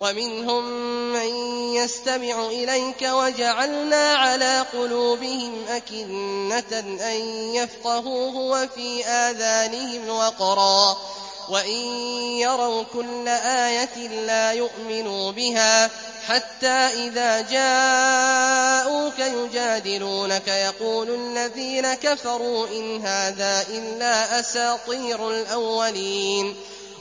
وَمِنْهُم مَّن يَسْتَمِعُ إِلَيْكَ ۖ وَجَعَلْنَا عَلَىٰ قُلُوبِهِمْ أَكِنَّةً أَن يَفْقَهُوهُ وَفِي آذَانِهِمْ وَقْرًا ۚ وَإِن يَرَوْا كُلَّ آيَةٍ لَّا يُؤْمِنُوا بِهَا ۚ حَتَّىٰ إِذَا جَاءُوكَ يُجَادِلُونَكَ يَقُولُ الَّذِينَ كَفَرُوا إِنْ هَٰذَا إِلَّا أَسَاطِيرُ الْأَوَّلِينَ